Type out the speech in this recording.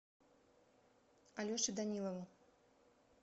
алеше данилову